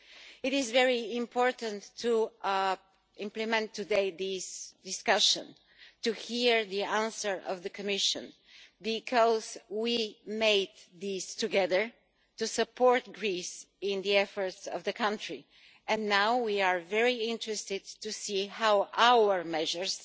It is very important to implement today these discussions to hear the answer of the Commission, because we made these together to support Greece in the country's efforts, and now we are very interested to see how our measures